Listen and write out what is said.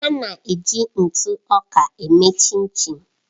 A na-eji ntụ ọka eme Chinchin.